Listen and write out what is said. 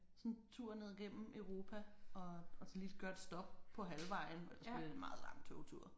Sådan en tur ned gennem Europa og og så lige gøre et stop på halvvejen ellers bliver det en meget lang togtur